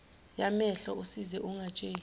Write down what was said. yamehlo usize ungatsheli